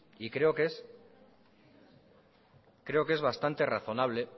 y creo que es bastante razonable